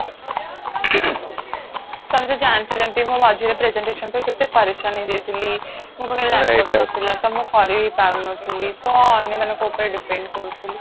ତମେ ତ ଜାଣିଛ ଯେମତି ମୁଁ ରେ presentation ପାଇଁ କେତେ ପରେଶାନ ହେଇ ଯାଇଥିଲି ମୋ ପକାହରେ laptop ନଥିଲା ମୁଁ କରିବି ପାରୁନଥିଲି ତ ଅନ୍ୟ ମାନଙ୍କ ଉପରେ depend କରୁଥିଲି